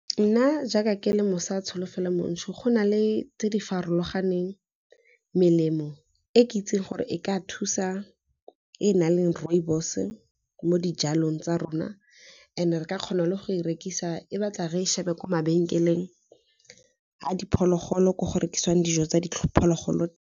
Nna jaaka ke le Mosa Tsholofelo Montsho go na le tse di farologaneng melemo e ke itseng gore e ka thusa e na leng rooibos, mo dijalong tsa rona and re ka kgona le go e rekisa e batla re e shebe kwa mabenkeleng a diphologolo ko go rekisiwang dijo tsa phologolo.